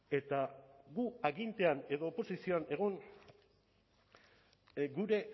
eta gu agintean edo oposizioan egon gure